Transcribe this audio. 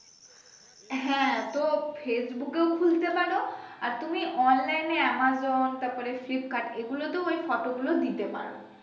হ্যা তো Facebook ও খুলতে পারো আর তুমি online এ Amazon তারপরে Flipkart এগুলোতেই ওই ফটো গুলো দিতে পারো